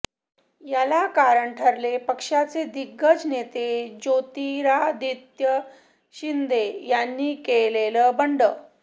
याला कारण ठरले पक्षाचे दिग्गज नेते ज्योतिरादित्य शिंदे यांनी केलेलं बंड